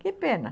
Que pena.